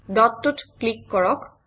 ডটটোত click কৰক